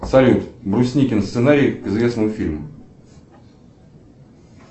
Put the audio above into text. салют брусникин сценарий к известному фильму